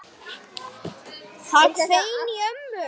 Það hvein í ömmu.